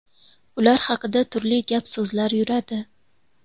Ular haqida turli gap so‘zlar yuradi.